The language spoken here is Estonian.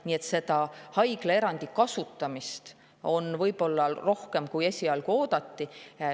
Nii et seda haiglaerandi kasutamist on võib-olla rohkem, kui esialgu oodati.